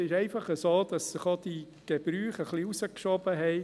Es ist einfach so, dass sich auch die Gebräuche etwas verschoben haben.